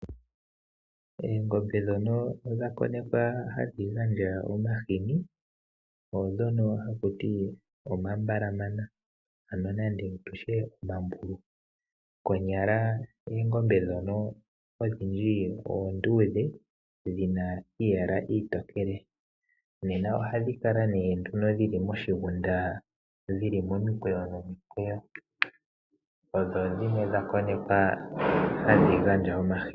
Oongombe dhono dha konekwa hadhi gandja omahini, oodhono haku ti omambalamana, ano nenge tutye omambulu. Konyala oongombe dhono odhindji oondudhe dhina iiyala iitokele. Nena ohadhi kala nee nduno dhili moshigunda dhili momikweyo nomikweyo. Odho dhimwe dha konekwa hadhi gandja omahini.